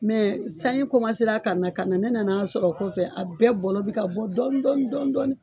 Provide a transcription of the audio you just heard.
Mɛ sanji kɔmasera ka na ka na ne nan'a sɔrɔ o kɔfɛ a bɛɛ bɔlɔ bi ka bɔ dɔni dɔni dɔdɔni